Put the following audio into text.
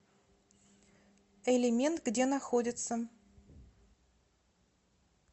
элемент где находится